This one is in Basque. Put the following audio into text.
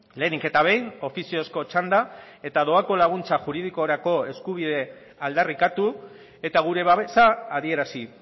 lehenik eta behin ofiziozko txanda eta doako laguntza juridikorako eskubidea aldarrikatu eta gure babesa adierazi